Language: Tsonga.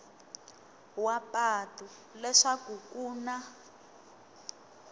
wa patu leswaku ku na